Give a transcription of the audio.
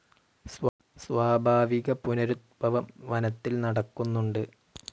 സ്വാഭാവിക പുനരുത്ഭവം വനത്തിൽ നടക്കുന്നുണ്ട്.